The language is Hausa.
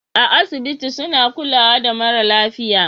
A asibiti suna kulawa da mara lafiya